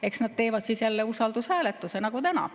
Eks nad teevad siis jälle usaldushääletuse nagu täna.